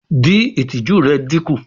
Din itiju rẹ dinku